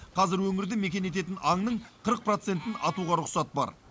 қазір өңірді мекен ететін аңның қырық процентін атуға рұқсат бар